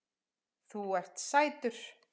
Þú ert sætur!